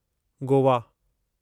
Goa